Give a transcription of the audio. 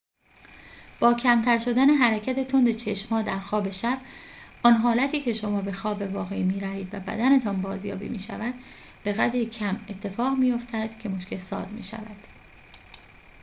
با کمتر شدن حرکت تند چشم‌ها در خواب شب آن حالتی که شما به خواب واقعی می‌روید و بدنتان بازیابی می‌شود بقدری کم اتفاق می‌فاتد که مشکل‌ساز می‌شود